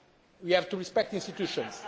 We have to respect the institutions.